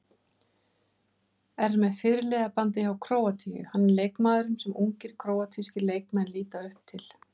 Er með fyrirliðabandið hjá Króatíu, hann er leikmaðurinn sem ungir króatískir leikmenn líta upp til.